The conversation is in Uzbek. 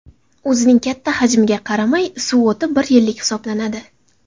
O‘zining katta hajmiga qaramay, suv o‘ti bir yillik hisoblanadi.